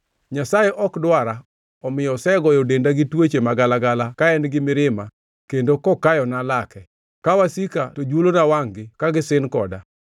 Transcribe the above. Nyasaye ok dwara omiyo osegoyo denda gi tuoche magalagala ka en gi mirima kendo kokayona lake, ka wasika to juolona wangʼ-gi ka gisin koda.